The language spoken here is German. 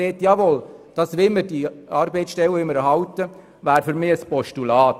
die andere Sichtweise spricht für eine Erhaltung der Arbeitsstellen.